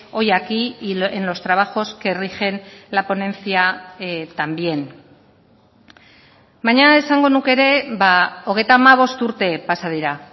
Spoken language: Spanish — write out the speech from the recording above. hoy aquí y en los trabajos que rigen la ponencia también baina esango nuke ere hogeita hamabost urte pasa dira